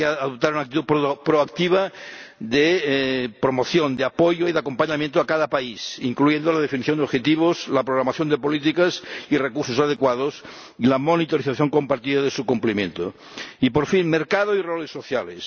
Tiene que adoptar una actitud proactiva de promoción, de apoyo y de acompañamiento a cada país, incluyendo la definición de objetivos, la programación de políticas y recursos adecuados y la monitorización compartida de su cumplimiento. Y por fin mercado y roles sociales.